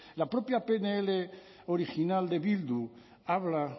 la propia pnl original de bildu habla